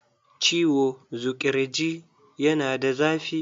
Ciwo zuƙirji yana da zafi.